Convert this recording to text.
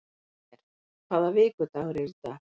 Hlér, hvaða vikudagur er í dag?